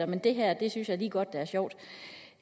men det her synes jeg da lige godt er sjovt